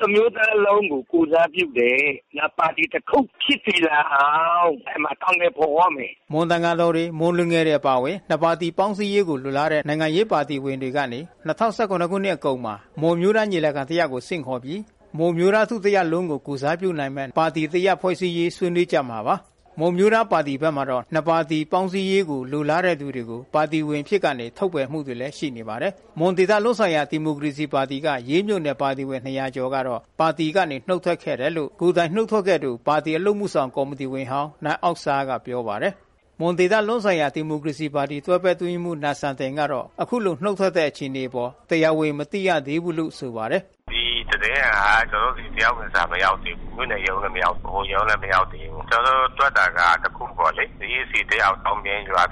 ၁ မျိုးသားလုံးကို ကိုယ်စားပြုတယ်၊ နောက်ပါတီ တခုဖြစ်နေတာကြောင့် အကောင်အထည်ဖော်ရမယ်။” မွန်သံဃာတော်တွေ မွန်လူငယ်အဖွဲ့တွေအပါအဝင် နှစ်ပါတီပေါင်းစည်းရေးကိုလိုလားတဲ့နိုင်ငံရေးပါတီဝင်တွေကနေ ၂၀၁၇ နှစ်ကုန်မှာ မွန်အမျိုးသားညီလာခံတရပ်ကိုဆင့်ခေါ်ပြီး မွန်အမျိုးသားထုတရပ်လုံးကိုယ်စားပြုနိုင်မယ့် ပါတီတရပ်ဖွဲ့ရေးဆေါးနွေးကြမှာပါ။ မွန်အမျိုးသားပါတီဘက်မှာတော့ နှစ်ပါတီပါတီပေါင်းစည်းရေးကိုလိုလားတဲ့သူတွေကို ပါတီဝင်အဖြစ်ကနေ ထုတ်ပယ် မှုတွေ ရှိနေ ပါတယ်။ မွန်ဒေသလုံးဆိုင်ရာဒီမိုကရေစီပါတီက ရေးမြို့နယ်ပါတီဝင် ကျော်ကတော့ ပါတီကနေနှုတ်ထွက်ခဲ့တယ်လို့ ကိုယ်တိုင်နှုတ်ထွက်ခဲ့သူ ပါတီအလုပ်အမှုဆောင် ကော်မီတီဝင်ဟောင်း နိုင်အောက်ဆာ ကပြောပါတယ်။ မွန်ဒေသလုံးဆိုင်ရာဒီမိုကရေစီပါတီတွဲဘက်အတွင်းရေးမှူးနိုင်စံတင်ကတော့ အခုလိုနှုတ်ထွက်တဲ့အခြေအနေအပေါ် တရားဝင်မသိရသေးဘူးလို့ဆိုပါတယ်။ “ဒီသတင်းက ကျနော်တို့ဆီ တရားဝင်စာမရောက်သေးဘူး မြို့နယ်ရုံးလည်မရောက်ဘူး ၊ ဗဟိုရုံးလည်းမရောက်သေးဘူး ။ ကျနေ်ာတို့ တွက်နေတာက တခုပေါ့လေ EC တယောက်ပေါ့လေ ကျနော်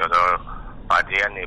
တို့ ပါတီကနေ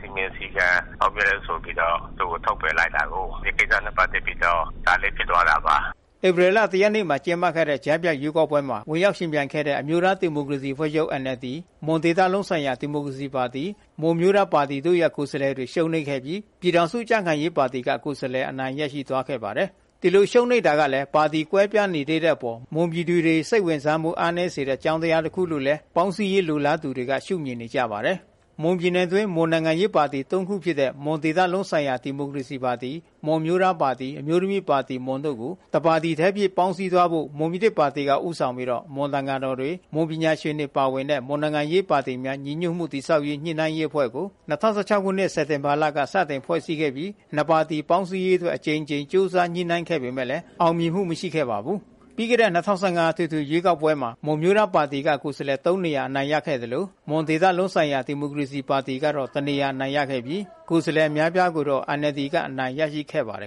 စည်းမျဉ်းစည်းကမ်း ဖောက်တယ်ဆိုပြီးတော့ ထုတ်ပယ်လိုက်တာကို ဆိုတဲ့ ကိစ္စနဲ့ ပတ်သက်ပြီးတော့ ဒါဖြစ်သွားတာပါ။” ဧပြီလ ရက်နေ့မှာကျင်းပခဲ့တဲ့ကြားဖြတ်ရွေးကောက်ပွဲမှာဝင်ရောက်ယှဉ်ပြိုင်ခဲ့တဲ့ အမျိုးသားဒီမိုကရေစီအဖွဲ့ချုပ်NLD မွန်ဒေသလုံးဆိုင်ရာဒီမိုကရေစီပါတီ မွန်အမျိုးသားပါတီတို့ရဲ့ကိုယ်စားလှယ်တွေရှုံးနိမ့်ခဲ့ပြီး ပြည်ထောင်စုကြံ့ခိုင်ရေး ပါတီက ကိုယ်စားလှယ်အနိုင်ရရှိသွားခဲ့ပါတယ်။ ဒီလိုရှုံးနိမ့်ရတာကလဲ ပါတီကွဲပြားနေသေးတဲ့အပေါ် မွန်ပြည်သူေ တွစိတ်ဝင်စားမှုအားနည်းစေတဲ့အကြောင်းတရား တခုလို့လဲ ပေါင်းစည်းရေးလိုလားသူတွေကရှုမြင်နေကြပါတယ်။ မွန်ပြည်နယ်အတွင်းမှာ မွေန်နိုင်ငံရေးပါတီ ခုဖြစ်တဲ့ မွန်ဒေသလုံးဆိုင်ရာဒီမိုကရေစီပါတီ မွန်အမျိုးသားပါတီ အမျိုး သမီးပါတီ တို့ကို တပါတီထဲအဖြစ်ပေါင်းစည်းသွားဖို့ မွန်ပြည်သစ်ပါတီဦးဆောင်ပြီး မွန်သံဃာတော်တွေ မွန်ပညာ ရှင်တွေပါဝင်တဲ့ မွန်နိုင်ငံရေးပါတီများညီညွတ်မှုတည်ဆောက်ရေးညှိနှိုင်းရေးအဖွဲ့ကို ၂၀၁၆ ခုနှစ် စက်တင်ဘာလခန့်က စတင် ဖွဲ့စည်းခဲ့ပြီးနှစ်ပါတီပေါင်းစည်းရေးအတွက် အကြိမ်ကြိမ် ကြိုးစားညှိနှိုင်းခဲ့ပေမယ့်အောင်မြင်မှုမရှိခဲ့ပါဘူး။ ပြီးခဲ့တဲ့ ၂၀၁၅အထွေထွေရွေးကောက်ပွဲမှာ မွန်အမျိုးသားပါတီကကိုယ်စားလှယ် နေရာအနိုင်ရခဲ့သလို မွန်ဒေသလုံး ဆိုင်ရာဒီမိုကရေစီပါတီက နေရာအနိုင်ရရှိပြီး ကိုယ်စားလှယ်အများအပြားကိုတော့NLDကအနိုင်ရရှိခဲ့ပါတယ်